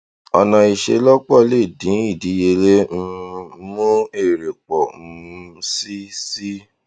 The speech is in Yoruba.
ọnà ìselọpọ lè dín ìdíyelé um mú èrè pọ um sí sí